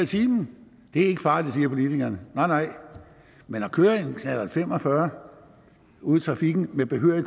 time det er ikke farligt siger politikerne nej nej men at køre en knallert fem og fyrre ude i trafikken med behørig